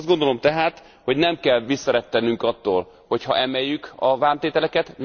Azt gondolom tehát, hogy nem kell visszarettennünk attól, hogy emeljük a vámtételeket.